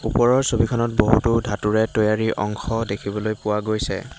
ওপৰৰ ছবিখনত বহুতো ধাতুৰে তৈয়াৰী অংশ দেখিবলৈ পোৱা গৈছে।